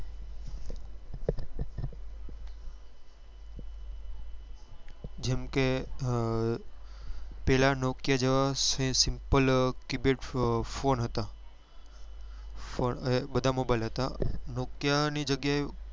જેમ કે અ પેલા nokia જેવા simple keypad ફોન હતા ફોન બધા mobile હતા nokia ની જગ્યા એ